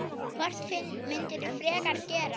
Hvort myndirðu frekar gera?